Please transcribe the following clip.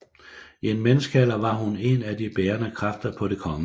I en menneskealder var hun en af de bærende kræfter på Det kgl